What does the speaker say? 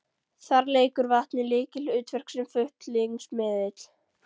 Þar leikur vatnið lykilhlutverk sem flutningsmiðill.